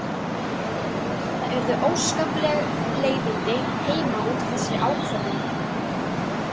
Það urðu óskapleg leiðindi heima út af þessari ákvörðun.